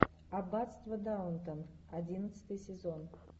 аббатство даунтон одиннадцатый сезон